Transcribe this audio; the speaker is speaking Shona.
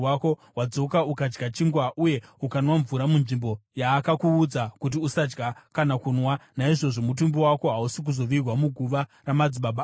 Wadzoka ukadya chingwa uye ukanwa mvura munzvimbo yaakakuudza kuti usadya kana kunwa. Naizvozvo mutumbi wako hausi kuzovigwa muguva ramadzibaba ako.’ ”